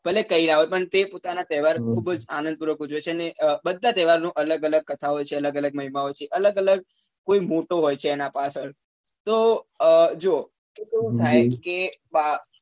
ભલે કઈ પણ તે પોતાના તહેવાર ખુબ જ આનંદ પૂર્વક ઉજવે છે અને અ બધા તહેવાર નો અલગ અલગ કથા હોય છે અલગ અલગ મહિમા હોય છે અલગ અલગ કોઈ મોટો હોય છે એના પાછળ તો અ જો કેવું થાય કે